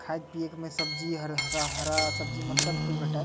खाये पिए के सब्जी मन हरा सब्जी मन सब कुछ भेटायेल।